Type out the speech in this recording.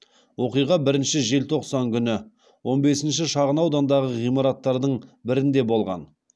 оқиға бірінші желтоқсан күні он бесінші шағынаудандағы ғимараттардың бірінде болған